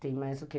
Tem mais o que?